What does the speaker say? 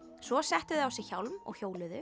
svo settu þau á sig hjálm og hjóluðu